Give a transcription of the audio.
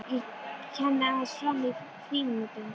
Ég kenni aðeins fram í frímínútur.